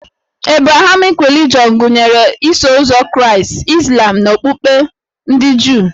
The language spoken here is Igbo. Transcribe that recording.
Ebrahamik relijọn gụnyere Iso ụzọ Kraịst, Izlam na okpukpe ndị Juu